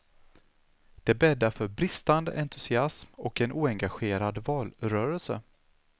Det bäddar för bristande entusiasm och en oengagerad valrörelse.